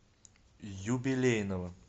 юбилейного